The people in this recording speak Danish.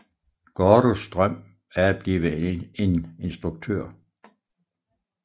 Gordos drøm er at blive en instruktør